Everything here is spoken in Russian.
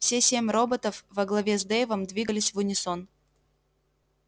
все семь роботов во главе с дейвом двигались в унисон